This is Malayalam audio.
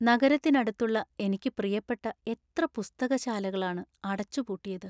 നഗരത്തിനടുത്തുള്ള എനിക്ക് പ്രിയപ്പെട്ട എത്ര പുസ്തകശാലകളാണ് അടച്ച് പൂട്ടിയത്.